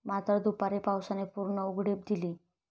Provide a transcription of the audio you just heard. मात्र, दुपारी पावसाने पूर्ण उघडीप दिली.